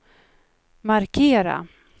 markera